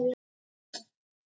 Hvað er femínískt sjónarhorn?